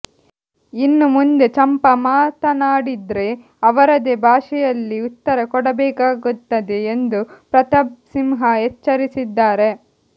ಇನ್ನು ಮುಂದೆ ಚಂಪಾ ಮಾತನಾಡಿದ್ರೆ ಅವರದೇ ಭಾಷೆಯಲ್ಲಿ ಉತ್ತರ ಕೊಡಬೇಕಾಗುತ್ತದೆ ಎಂದು ಪ್ರತಾಪ್ ಸಿಂಹ ಎಚ್ಚರಿಸಿದ್ದಾರೆ